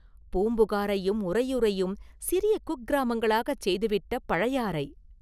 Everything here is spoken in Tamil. பூம்புகாரையும் உறையூரையும் சிறிய குக்கிராமங்களாகச் செய்துவிட்ட பழையாறை!